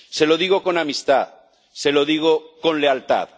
Se lo digo con amistad, se lo digo con lealtad.